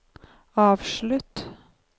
avslutt